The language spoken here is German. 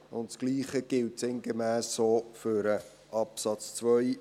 Das Gleiche gilt sinngemäss auch für den Absatz 2;